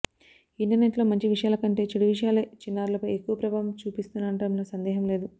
internet లో మంచి విషయాల కంటే చెడు విషయాలే చిన్నారులపై ఎక్కువ ప్రభావం చూపిస్తున్నడంలో సందేహం లేదు